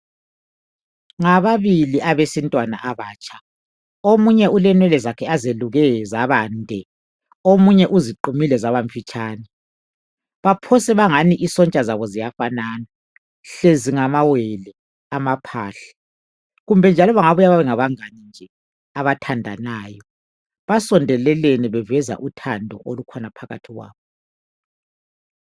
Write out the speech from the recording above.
Ngababili abesintwana abatsha omunye ulenwele zakhe azeluke zabande omunye uziqumile zabamfitshane baphose bangani isontsha zabo ziyafanana hlezi ngamawele amaphahla kumbe njalo bengabuya bebe ngabangani nje abathandanayo basondelelene baveza uthando olukhulu olukhona phakathi kwabo.